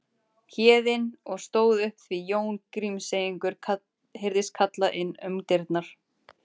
Héðinn og stóð upp því Jón Grímseyingur heyrðist kalla inn um dyrnar